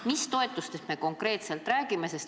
Mis toetustest me konkreetselt räägime?